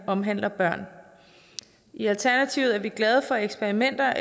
omhandler børn i alternativet er vi glade for eksperimenter